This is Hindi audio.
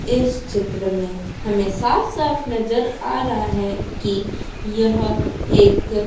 इस चित्र में हमें साफ-साफ नज़र आ रहा है कि यह एक --